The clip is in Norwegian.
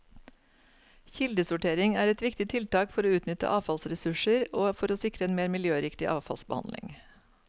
Kildesortering er et viktig tiltak for å utnytte avfallsressurser og for å sikre en mer miljøriktig avfallsbehandling.